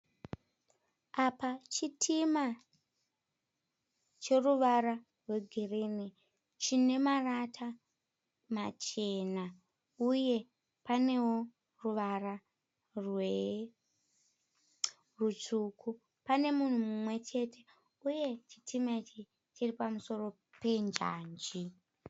Apa chitima cheruvara rwegirinhi. Chine marata machena uye panewo ruvara rutsvuku. Pane munhu mumwe chete uye chitima ichi chiri pamusoro penjanji.